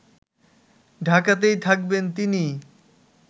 ঢাকাতেই থাকবেন তিনি